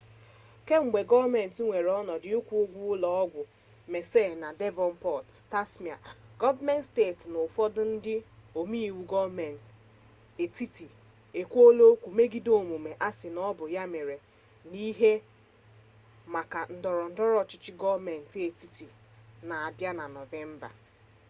kemgbe gọọmenti weere ọnọdụ ịkwụ ụgwọ ụlọ ọgwụ mersey na devọnpọt tasmania gọọmenti steeti na ụfọdụ ndị ome iwu gọọmenti etiti ekwuola okwu megide omume a sị na ọ bụ mere mere n'ihu maka ndọrọ ndọrọ ọchịchị gọọmenti etiti na-abịa na nọvemba